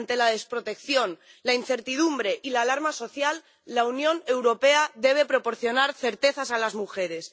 Ante la desprotección, la incertidumbre y la alarma social, la Unión Europea debe proporcionar certezas a las mujeres.